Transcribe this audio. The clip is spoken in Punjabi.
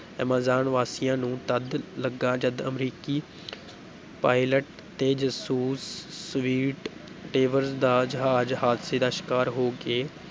ਐਮਾਜ਼ਾਨ ਵਾਸੀਆਂ ਨੂੰ ਤਦ ਲੱਗਾ ਜਦ ਅਮਰੀਕੀ ਪਾਇਲਟ ਤੇ ਜਸੂਸ ਸਵੀਟ ਟੇਵਰ ਦਾ ਜਹਾਜ਼ ਹਾਦਸੇ ਦਾ ਸ਼ਿਕਾਰ ਹੋ ਕੇ